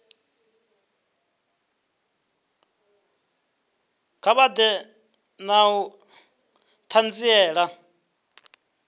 kha vha ḓe na ṱhanziela